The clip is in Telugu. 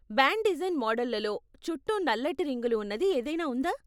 బ్యాండ్ డిజైన్ మోడళ్ళలో, చుట్టూ నల్లటి రింగులు ఉన్నది ఏదైనా ఉందా?